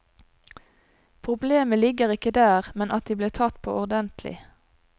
Problemet ligger ikke der, men at de blir tatt på ordentlig.